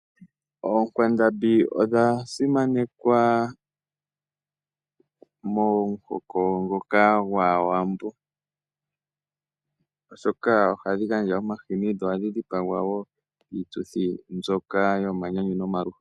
Oonkwandambi odha simanekwa momuhoko ngoka gwAawambo oshoka ohadhi gandja omahini dho ohadhi dhipagwa wo oku gandja onyama miituthi mbyoka yomanyanyu nosho wo yomaluhodhi.